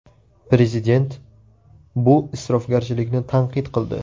Prezident bu isrofgarchilikni tanqid qildi.